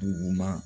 Duguma